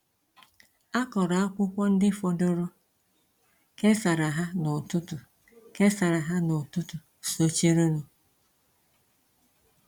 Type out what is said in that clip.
A kọrọ akwụkwọ ndị fọdụrụ, kesara ha n’ụtụtụ kesara ha n’ụtụtụ sochirinụ.